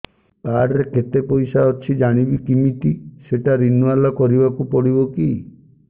card ରେ କେତେ ପଇସା ଅଛି ଜାଣିବି କିମିତି ସେଟା ରିନୁଆଲ କରିବାକୁ ପଡ଼ିବ କି